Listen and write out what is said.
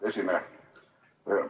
Hea esineja!